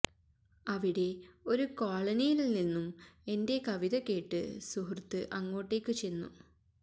അവിടെ ഒരു കോളനിയില്നിന്നും എന്റ കവിത കേട്ടു സുഹൃത്ത് അങ്ങോട്ടേക്ക് ചെന്നു